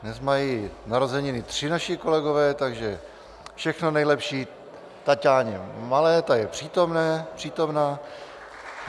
Dnes mají narozeniny tři naši kolegové, takže všechno nejlepší Taťáně Malé, ta je přítomna.